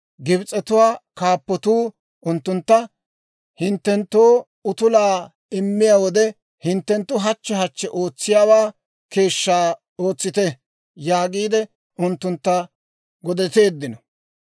Gibs'etuwaa kaappotuu unttuntta, «Hinttenttoo utulaa immiyaa wode hinttenttu hachche hachche ootsiyaawaa keeshshaa ootsite» yaagiide unttuntta godeteeddino.